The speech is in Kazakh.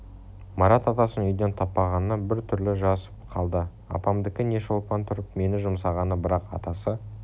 марат атасын үйден таппағанына бір түрлі жасып қалды апамдікі не шолпан тұрып мені жұмсағаны бірақ атасы